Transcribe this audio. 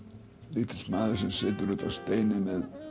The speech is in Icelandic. lítill maður sem situr uppi á steini með